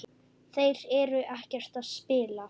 Þeir eru ekkert að spila?